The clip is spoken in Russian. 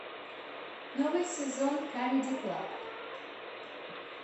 новый сезон камеди клаб